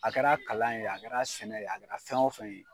A kɛra kalan ye a kɛra sɛnɛ ye a kɛra fɛn o fɛn ye.